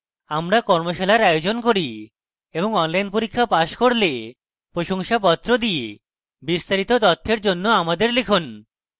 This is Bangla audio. আমরা কর্মশালার আয়োজন করে এবং online পরীক্ষা pass করলে প্রশংসাপত্র দেয় বিস্তারিত তথ্যের জন্য আমাদের লিখুন